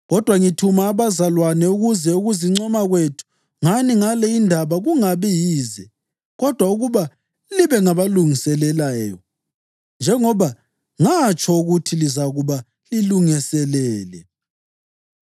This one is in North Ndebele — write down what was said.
Kodwa ngithuma abazalwane ukuze ukuzincoma kwethu ngani ngale indaba kungabi yize kodwa ukuba libe ngabalungiseleleyo, njengoba ngatsho ukuthi lizakuba lilungiselele.